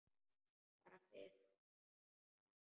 Bara fyrst í stað.